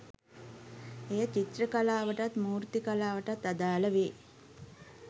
එය චිත්‍ර කලාවටත් මූර්ති කලාවටත් අදාළ වේ